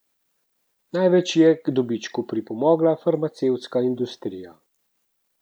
Največ je k dobičku pripomogla farmacevtska industrija.